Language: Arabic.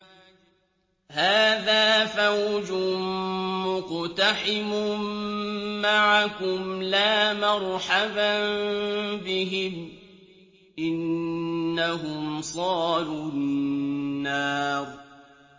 هَٰذَا فَوْجٌ مُّقْتَحِمٌ مَّعَكُمْ ۖ لَا مَرْحَبًا بِهِمْ ۚ إِنَّهُمْ صَالُو النَّارِ